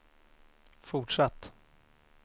fortsatt